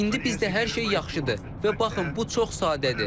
İndi bizdə hər şey yaxşıdır və baxın, bu çox sadədir.